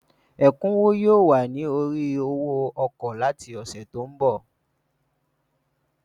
Ẹ̀kúnwó yóò wà ní orí owó ọkọ̀ láti ọ̀sẹ̀ tí ń bọ̀.